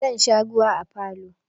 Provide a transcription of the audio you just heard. Za a sha ruwa a falo.